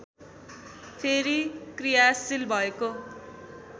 फेरि क्रियाशील भएको